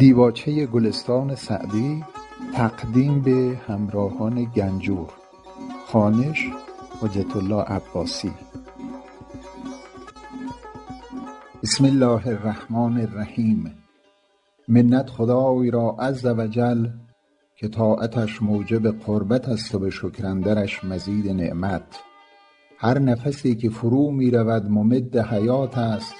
بسم الله الرحمن الرحیم منت خدای را عز و جل که طاعتش موجب قربت است و به شکر اندرش مزید نعمت هر نفسی که فرو می رود ممد حیات است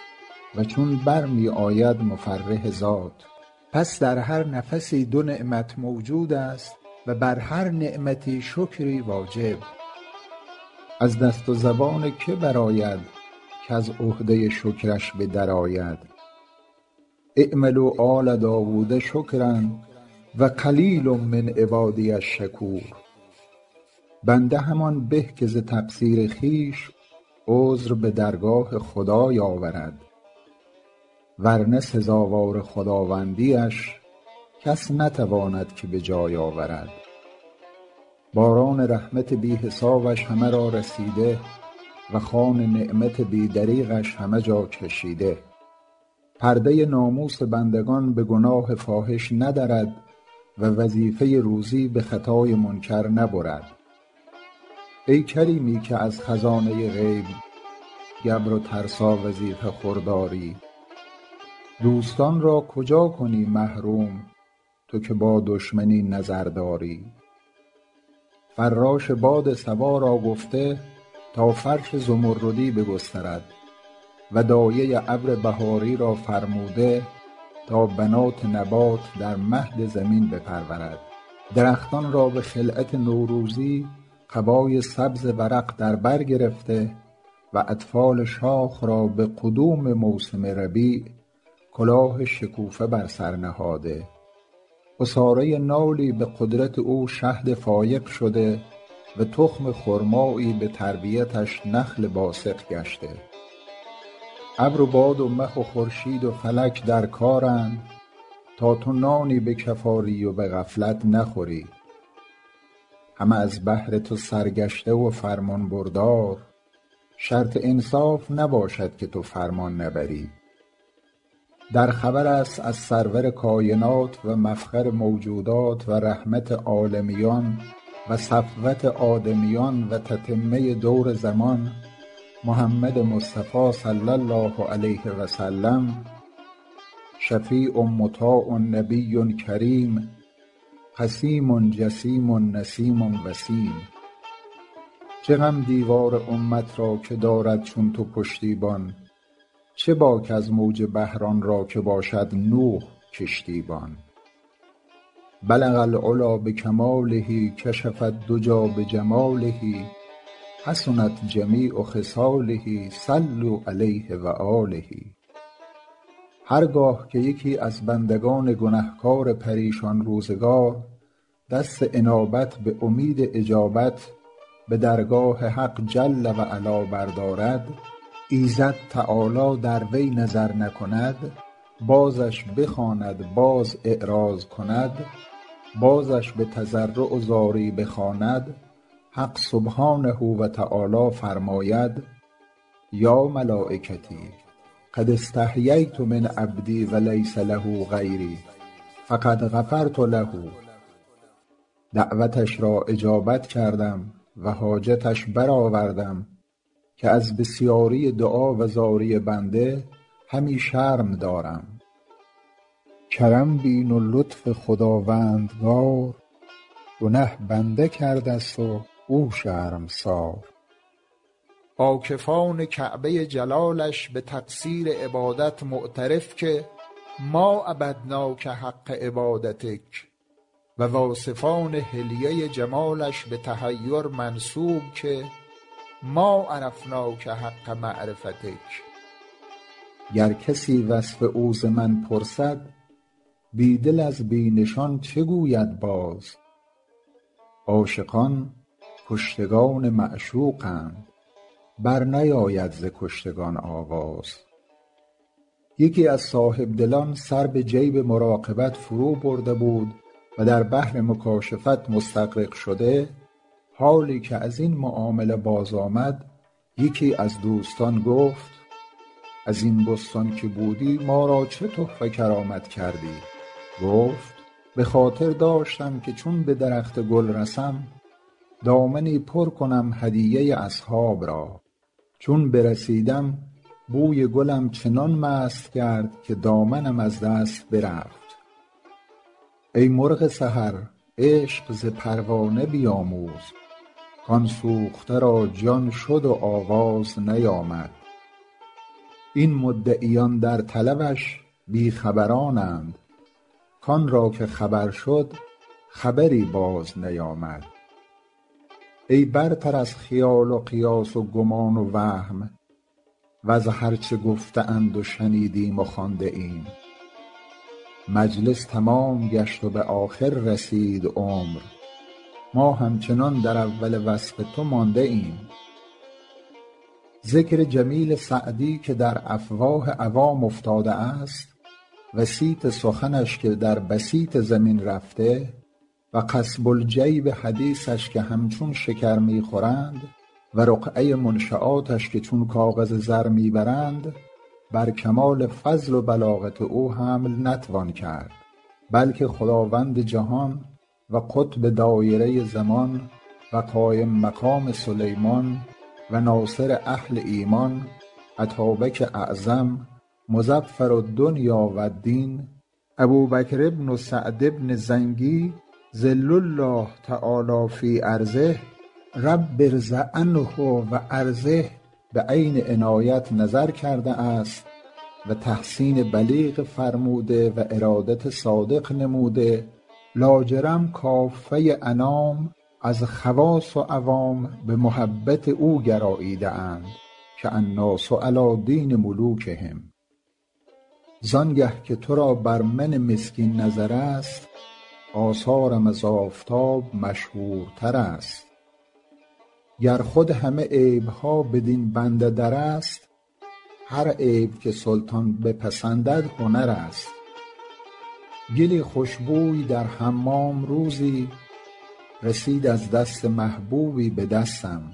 و چون بر می آید مفرح ذات پس در هر نفسی دو نعمت موجود است و بر هر نعمتی شکری واجب از دست و زبان که برآید کز عهده شکرش به در آید اعملوا آل داود شکرا و قلیل من عبادی الشکور بنده همان به که ز تقصیر خویش عذر به درگاه خدای آورد ور نه سزاوار خداوندی اش کس نتواند که به جای آورد باران رحمت بی حسابش همه را رسیده و خوان نعمت بی دریغش همه جا کشیده پرده ناموس بندگان به گناه فاحش ندرد و وظیفه روزی به خطای منکر نبرد ای کریمی که از خزانه غیب گبر و ترسا وظیفه خور داری دوستان را کجا کنی محروم تو که با دشمن این نظر داری فراش باد صبا را گفته تا فرش زمردی بگسترد و دایه ابر بهاری را فرموده تا بنات نبات در مهد زمین بپرورد درختان را به خلعت نوروزی قبای سبز ورق در بر گرفته و اطفال شاخ را به قدوم موسم ربیع کلاه شکوفه بر سر نهاده عصاره نالی به قدرت او شهد فایق شده و تخم خرمایی به تربیتش نخل باسق گشته ابر و باد و مه و خورشید و فلک در کارند تا تو نانی به کف آری و به غفلت نخوری همه از بهر تو سرگشته و فرمانبردار شرط انصاف نباشد که تو فرمان نبری در خبر است از سرور کاینات و مفخر موجودات و رحمت عالمیان و صفوت آدمیان و تتمه دور زمان محمد مصطفی صلی الله علیه و سلم شفیع مطاع نبی کریم قسیم جسیم نسیم وسیم چه غم دیوار امت را که دارد چون تو پشتیبان چه باک از موج بحر آن را که باشد نوح کشتی بان بلغ العلیٰ بکماله کشف الدجیٰ بجماله حسنت جمیع خصاله صلوا علیه و آله هر گاه که یکی از بندگان گنهکار پریشان روزگار دست انابت به امید اجابت به درگاه حق جل و علا بردارد ایزد تعالی در وی نظر نکند بازش بخواند باز اعراض کند بازش به تضرع و زاری بخواند حق سبحانه و تعالی فرماید یا ملایکتی قد استحییت من عبدی و لیس له غیری فقد غفرت له دعوتش را اجابت کردم و حاجتش برآوردم که از بسیاری دعا و زاری بنده همی شرم دارم کرم بین و لطف خداوندگار گنه بنده کرده ست و او شرمسار عاکفان کعبه جلالش به تقصیر عبادت معترف که ما عبدناک حق عبادتک و واصفان حلیه جمالش به تحیر منسوب که ما عرفناک حق معرفتک گر کسی وصف او ز من پرسد بی دل از بی نشان چه گوید باز عاشقان کشتگان معشوقند بر نیاید ز کشتگان آواز یکی از صاحبدلان سر به جیب مراقبت فرو برده بود و در بحر مکاشفت مستغرق شده حالی که از این معامله باز آمد یکی از دوستان گفت از این بستان که بودی ما را چه تحفه کرامت کردی گفت به خاطر داشتم که چون به درخت گل رسم دامنی پر کنم هدیه اصحاب را چون برسیدم بوی گلم چنان مست کرد که دامنم از دست برفت ای مرغ سحر عشق ز پروانه بیاموز کآن سوخته را جان شد و آواز نیامد این مدعیان در طلبش بی خبرانند کآن را که خبر شد خبری باز نیامد ای برتر از خیال و قیاس و گمان و وهم وز هر چه گفته اند و شنیدیم و خوانده ایم مجلس تمام گشت و به آخر رسید عمر ما همچنان در اول وصف تو مانده ایم ذکر جمیل سعدی که در افواه عوام افتاده است و صیت سخنش که در بسیط زمین رفته و قصب الجیب حدیثش که همچون شکر می خورند و رقعه منشیاتش که چون کاغذ زر می برند بر کمال فضل و بلاغت او حمل نتوان کرد بلکه خداوند جهان و قطب دایره زمان و قایم مقام سلیمان و ناصر اهل ایمان اتابک اعظم مظفر الدنیا و الدین ابوبکر بن سعد بن زنگی ظل الله تعالیٰ في أرضه رب ارض عنه و أرضه به عین عنایت نظر کرده است و تحسین بلیغ فرموده و ارادت صادق نموده لاجرم کافه انام از خواص و عوام به محبت او گراییده اند که الناس علیٰ دین ملوکهم زآن گه که تو را بر من مسکین نظر است آثارم از آفتاب مشهورتر است گر خود همه عیب ها بدین بنده در است هر عیب که سلطان بپسندد هنر است گلی خوش بوی در حمام روزی رسید از دست محبوبی به دستم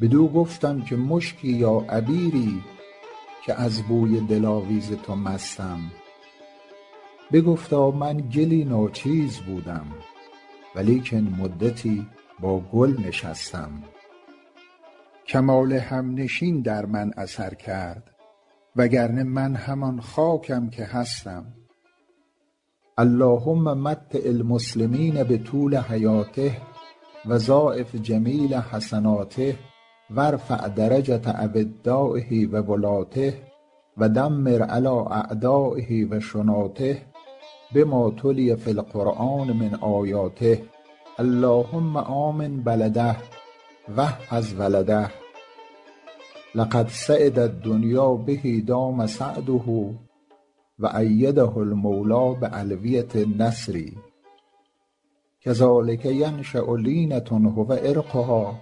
بدو گفتم که مشکی یا عبیری که از بوی دلاویز تو مستم بگفتا من گلی ناچیز بودم و لیکن مدتی با گل نشستم کمال همنشین در من اثر کرد وگرنه من همان خاکم که هستم اللهم متع المسلمین بطول حیاته و ضاعف جمیل حسناته و ارفع درجة أودایه و ولاته و دمر علیٰ أعدایه و شناته بما تلي في القرآن من آیاته اللهم آمن بلده و احفظ ولده لقد سعد الدنیا به دام سعده و أیده المولیٰ بألویة النصر کذلک ینشأ لینة هو عرقها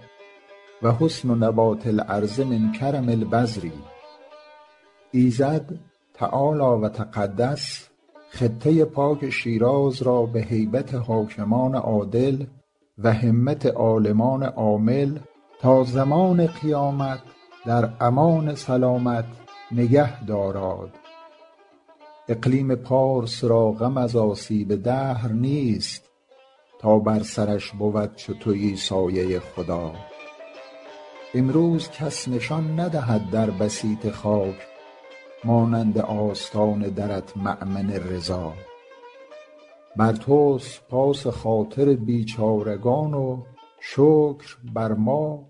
و حسن نبات الأرض من کرم البذر ایزد تعالی و تقدس خطه پاک شیراز را به هیبت حاکمان عادل و همت عالمان عامل تا زمان قیامت در امان سلامت نگه داراد اقلیم پارس را غم از آسیب دهر نیست تا بر سرش بود چو تویی سایه خدا امروز کس نشان ندهد در بسیط خاک مانند آستان درت مأمن رضا بر توست پاس خاطر بیچارگان و شکر بر ما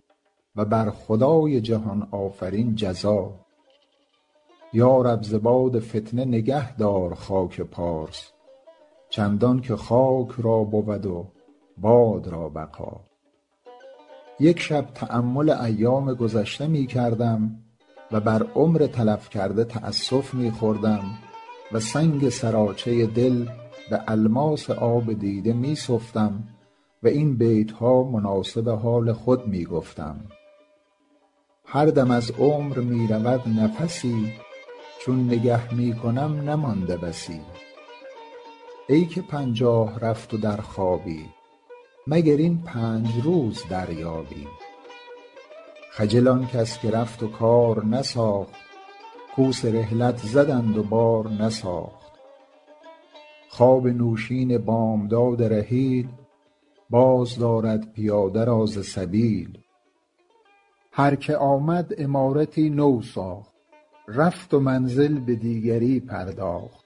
و بر خدای جهان آفرین جزا یا رب ز باد فتنه نگهدار خاک پارس چندان که خاک را بود و باد را بقا یک شب تأمل ایام گذشته می کردم و بر عمر تلف کرده تأسف می خوردم و سنگ سراچه دل به الماس آب دیده می سفتم و این بیت ها مناسب حال خود می گفتم هر دم از عمر می رود نفسی چون نگه می کنم نمانده بسی ای که پنجاه رفت و در خوابی مگر این پنج روز دریابی خجل آن کس که رفت و کار نساخت کوس رحلت زدند و بار نساخت خواب نوشین بامداد رحیل باز دارد پیاده را ز سبیل هر که آمد عمارتی نو ساخت رفت و منزل به دیگری پرداخت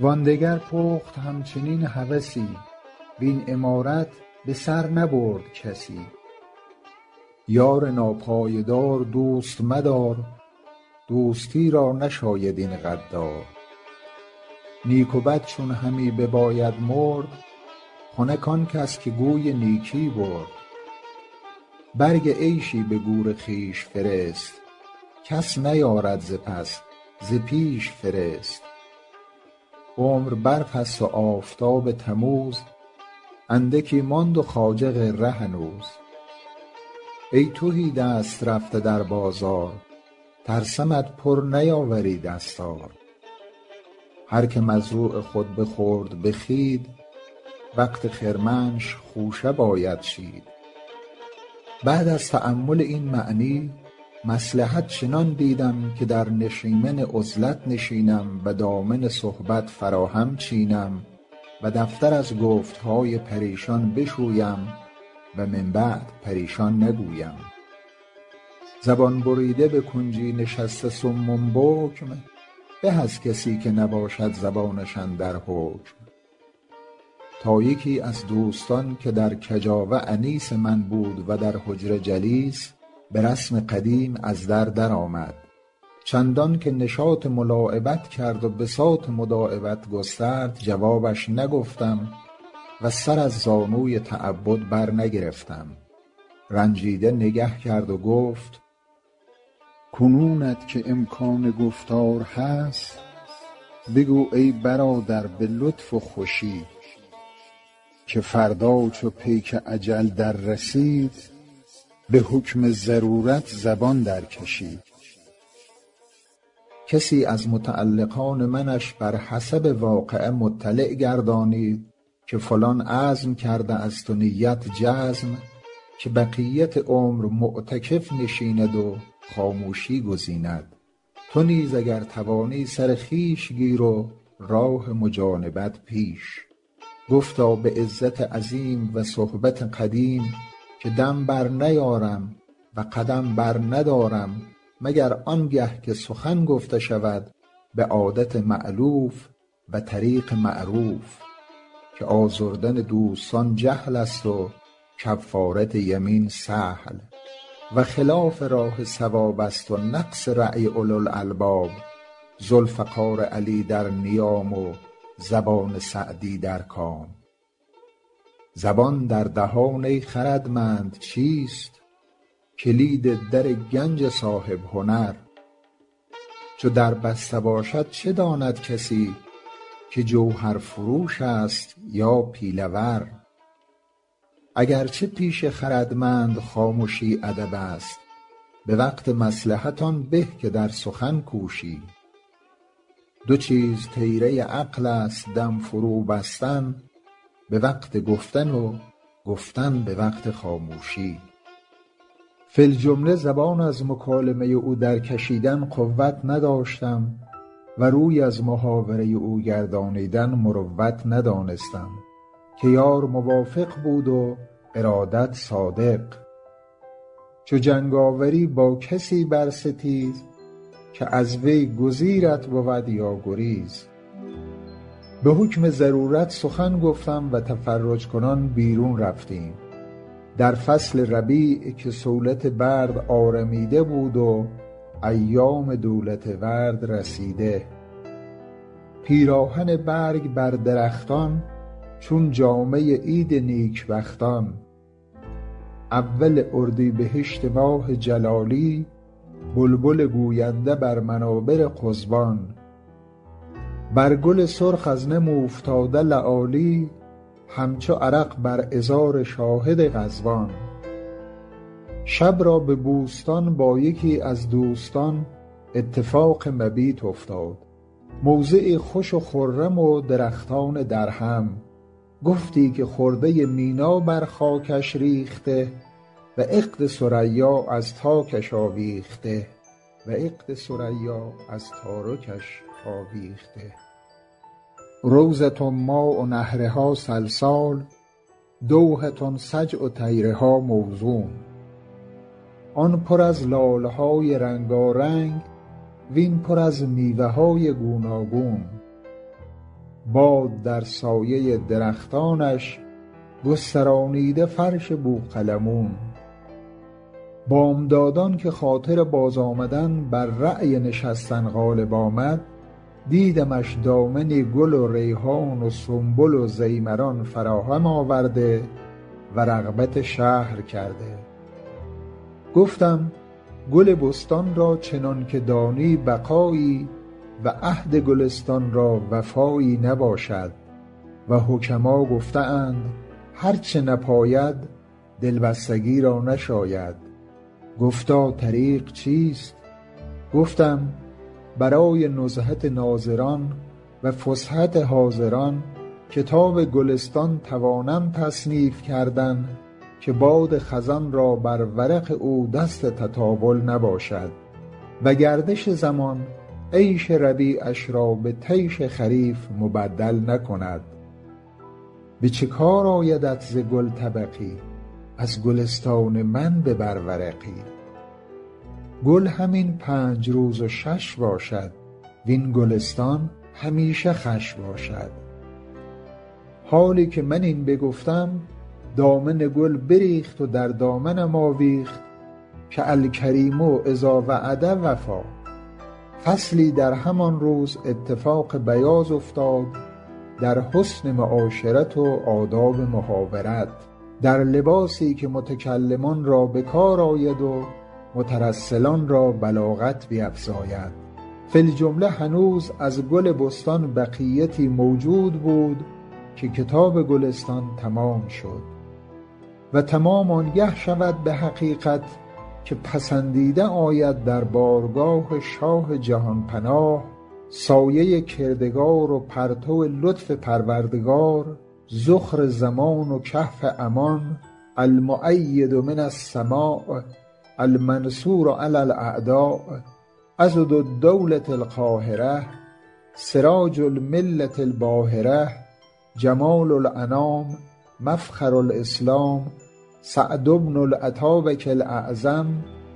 وآن دگر پخت همچنین هوسی وین عمارت به سر نبرد کسی یار ناپایدار دوست مدار دوستی را نشاید این غدار نیک و بد چون همی بباید مرد خنک آن کس که گوی نیکی برد برگ عیشی به گور خویش فرست کس نیارد ز پس ز پیش فرست عمر برف است و آفتاب تموز اندکی ماند و خواجه غره هنوز ای تهی دست رفته در بازار ترسمت پر نیاوری دستار هر که مزروع خود بخورد به خوید وقت خرمنش خوشه باید چید بعد از تأمل این معنی مصلحت چنان دیدم که در نشیمن عزلت نشینم و دامن صحبت فراهم چینم و دفتر از گفت های پریشان بشویم و من بعد پریشان نگویم زبان بریده به کنجی نشسته صم بکم به از کسی که نباشد زبانش اندر حکم تا یکی از دوستان که در کجاوه انیس من بود و در حجره جلیس به رسم قدیم از در در آمد چندان که نشاط ملاعبت کرد و بساط مداعبت گسترد جوابش نگفتم و سر از زانوی تعبد بر نگرفتم رنجیده نگه کرد و گفت کنونت که امکان گفتار هست بگو ای برادر به لطف و خوشی که فردا چو پیک اجل در رسید به حکم ضرورت زبان در کشی کسی از متعلقان منش بر حسب واقعه مطلع گردانید که فلان عزم کرده است و نیت جزم که بقیت عمر معتکف نشیند و خاموشی گزیند تو نیز اگر توانی سر خویش گیر و راه مجانبت پیش گفتا به عزت عظیم و صحبت قدیم که دم بر نیارم و قدم بر ندارم مگر آن گه که سخن گفته شود به عادت مألوف و طریق معروف که آزردن دوستان جهل است و کفارت یمین سهل و خلاف راه صواب است و نقص رای اولوالالباب ذوالفقار علی در نیام و زبان سعدی در کام زبان در دهان ای خردمند چیست کلید در گنج صاحب هنر چو در بسته باشد چه داند کسی که جوهرفروش است یا پیله ور اگر چه پیش خردمند خامشی ادب است به وقت مصلحت آن به که در سخن کوشی دو چیز طیره عقل است دم فرو بستن به وقت گفتن و گفتن به وقت خاموشی فی الجمله زبان از مکالمه او در کشیدن قوت نداشتم و روی از محاوره او گردانیدن مروت ندانستم که یار موافق بود و ارادت صادق چو جنگ آوری با کسی بر ستیز که از وی گزیرت بود یا گریز به حکم ضرورت سخن گفتم و تفرج کنان بیرون رفتیم در فصل ربیع که صولت برد آرمیده بود و ایام دولت ورد رسیده پیراهن برگ بر درختان چون جامه عید نیک بختان اول اردیبهشت ماه جلالی بلبل گوینده بر منابر قضبان بر گل سرخ از نم اوفتاده لآلی همچو عرق بر عذار شاهد غضبان شب را به بوستان با یکی از دوستان اتفاق مبیت افتاد موضعی خوش و خرم و درختان درهم گفتی که خرده مینا بر خاکش ریخته و عقد ثریا از تارکش آویخته روضة ماء نهرها سلسال دوحة سجع طیرها موزون آن پر از لاله های رنگارنگ وین پر از میوه های گوناگون باد در سایه درختانش گسترانیده فرش بوقلمون بامدادان که خاطر باز آمدن بر رای نشستن غالب آمد دیدمش دامنی گل و ریحان و سنبل و ضیمران فراهم آورده و رغبت شهر کرده گفتم گل بستان را چنان که دانی بقایی و عهد گلستان را وفایی نباشد و حکما گفته اند هر چه نپاید دلبستگی را نشاید گفتا طریق چیست گفتم برای نزهت ناظران و فسحت حاضران کتاب گلستان توانم تصنیف کردن که باد خزان را بر ورق او دست تطاول نباشد و گردش زمان عیش ربیعش را به طیش خریف مبدل نکند به چه کار آیدت ز گل طبقی از گلستان من ببر ورقی گل همین پنج روز و شش باشد وین گلستان همیشه خوش باشد حالی که من این بگفتم دامن گل بریخت و در دامنم آویخت که الکریم إذا وعد وفا فصلی در همان روز اتفاق بیاض افتاد در حسن معاشرت و آداب محاورت در لباسی که متکلمان را به کار آید و مترسلان را بلاغت بیفزاید فی الجمله هنوز از گل بستان بقیتی موجود بود که کتاب گلستان تمام شد و تمام آن گه شود به حقیقت که پسندیده آید در بارگاه شاه جهان پناه سایه کردگار و پرتو لطف پروردگار ذخر زمان و کهف امان المؤید من السماء المنصور علی الأعداء عضد الدولة القاهرة سراج الملة الباهرة جمال الأنام مفخر الإسلام سعد بن الاتابک الاعظم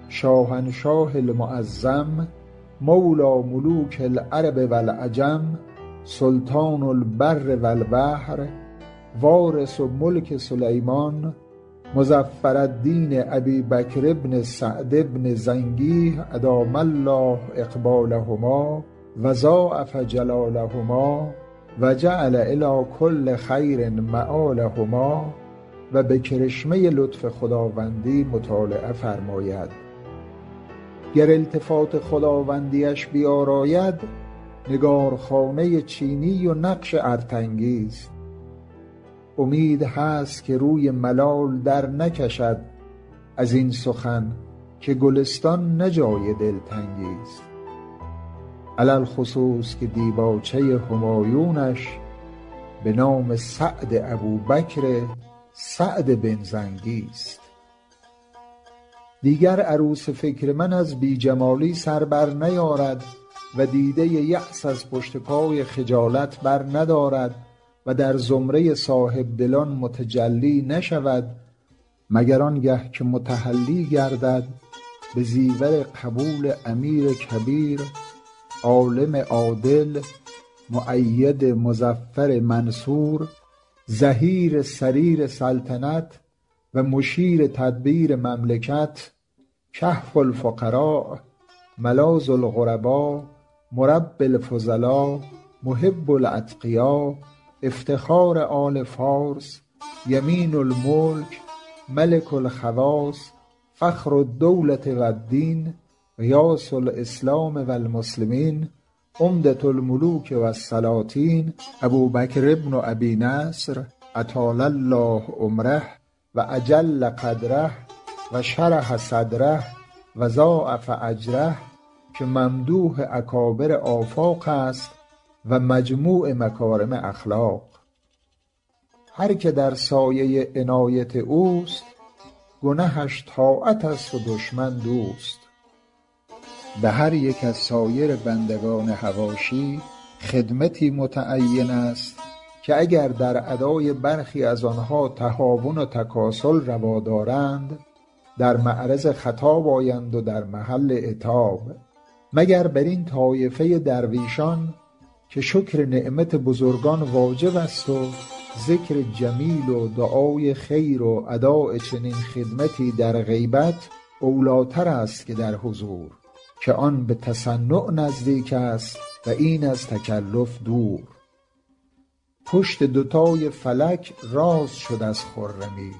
شاهنشاه المعظم مولیٰ ملوک العرب و العجم سلطان البر و البحر وارث ملک سلیمان مظفرالدین أبی بکر بن سعد بن زنگی أدام الله إقبالهما و ضاعف جلالهما و جعل إلیٰ کل خیر مآلهما و به کرشمه لطف خداوندی مطالعه فرماید گر التفات خداوندی اش بیاراید نگارخانه چینی و نقش ارتنگی ست امید هست که روی ملال در نکشد از این سخن که گلستان نه جای دلتنگی ست علی الخصوص که دیباچه همایونش به نام سعد ابوبکر سعد بن زنگی ست دیگر عروس فکر من از بی جمالی سر بر نیارد و دیده یأس از پشت پای خجالت بر ندارد و در زمره صاحب دلان متجلی نشود مگر آن گه که متحلی گردد به زیور قبول امیر کبیر عالم عادل مؤید مظفر منصور ظهیر سریر سلطنت و مشیر تدبیر مملکت کهف الفقرا ملاذ الغربا مربی الفضلا محب الأتقیا افتخار آل فارس یمین الملک ملک الخواص فخر الدولة و الدین غیاث الإسلام و المسلمین عمدة الملوک و السلاطین ابوبکر بن أبي نصر أطال الله عمره و أجل قدره و شرح صدره و ضاعف أجره که ممدوح اکابر آفاق است و مجموع مکارم اخلاق هر که در سایه عنایت اوست گنهش طاعت است و دشمن دوست به هر یک از سایر بندگان حواشی خدمتی متعین است که اگر در ادای برخی از آن تهاون و تکاسل روا دارند در معرض خطاب آیند و در محل عتاب مگر بر این طایفه درویشان که شکر نعمت بزرگان واجب است و ذکر جمیل و دعای خیر و اداء چنین خدمتی در غیبت اولی ٰتر است که در حضور که آن به تصنع نزدیک است و این از تکلف دور پشت دوتای فلک راست شد از خرمی